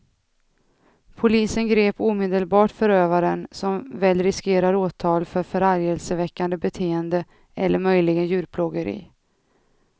Polisen grep omedelbart förövaren, som väl riskerar åtal för förargelseväckande beteende eller möjligen djurplågeri.